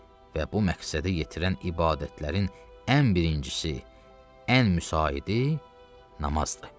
Və bu məqsədə yetirən ibadətlərin ən birincisi, ən müsaidı namazdır.